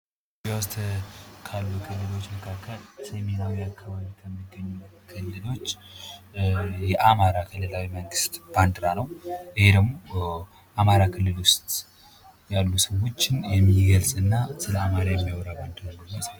ካሉ ክልሎች መካከል ሰሜናዊ አካባቢ የሚገኝ የአማራ ክልላዊ መንግሥት ባንዲራ ነው። ይህ ደግሞ አማራ ክልል ውስጥ ያሉ ስሞችን የሚገልጽ እና ስለ አማራ የሚያወራ ምስል ነው።